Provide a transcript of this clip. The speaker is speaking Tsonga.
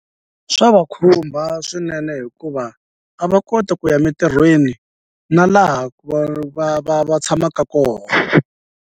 Swa va khumba swinene hikuva a va koti ku ya mintirhweni na laha ku va va va tshamaka koho.